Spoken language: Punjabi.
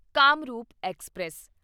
ਕਾਮਰੂਪ ਐਕਸਪ੍ਰੈਸ